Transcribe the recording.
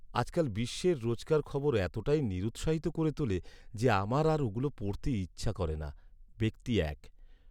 আজকাল বিশ্বের রোজকার খবর এতটাই নিরুৎসাহিত করে তোলে যে আমার আর ওগুলো পড়তে ইচ্ছা করে না। ব্যক্তি এক